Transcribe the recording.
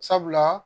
Sabula